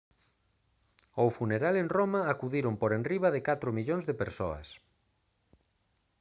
ao funeral en roma acudiron por enriba de catro millóns de persoas